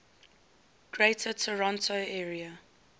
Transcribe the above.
greater toronto area